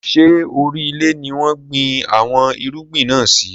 Ṣé orí ilẹ̀ ni wọn gbìn àwọn irúgbìn náà sì?